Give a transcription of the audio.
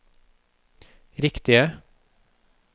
riktige